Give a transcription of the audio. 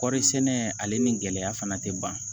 Kɔɔri sɛnɛ ale ni gɛlɛya fana tɛ ban